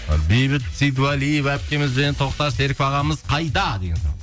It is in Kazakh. ы бейбіт сейдуалиева әпкеміз бен тоқтар серіков ағамыз қайда деген сұрақ